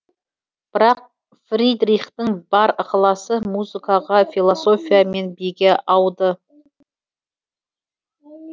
бірақ фридрихтің бар ықыласы музыкаға философия мен биге ауды